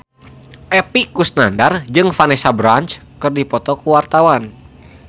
Epy Kusnandar jeung Vanessa Branch keur dipoto ku wartawan